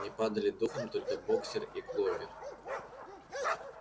не падали духом только боксёр и кловер